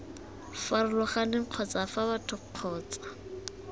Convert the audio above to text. farologaneng kgotsa fa batho kgotsa